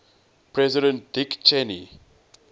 president dick cheney